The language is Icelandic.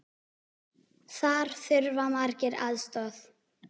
Þar þurfa margir aðstoð.